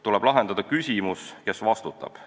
Tuleb lahendada küsimus, kes vastutab.